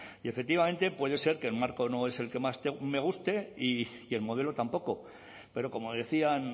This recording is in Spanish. y efectivamente puede ser que el marco no es el que más me guste y el modelo tampoco pero como decían